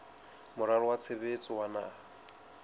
moralo wa tshebetso wa naha